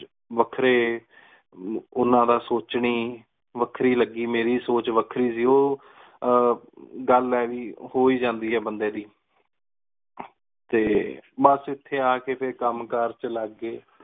ਵੱਖਰੇ ਓਹਨਾ ਦਾ ਸੋਚਣੀ ਵਖਰੀ ਲੱਗੀ ਮੇਰੀ ਸੋਚ ਵਖਰੀ ਸੀ ਓਹ ਆਹ ਗਲ ਹੈ ਵੀ ਹੋਇ ਜਾਂਦੀ ਆ ਬੰਦੇ ਦੀ ਤੇ ਬਸ ਇਥੇ ਆ ਕੇ ਫੇਰ ਕਮ ਕਾਰ ਚੇ ਲਗ ਗਏ।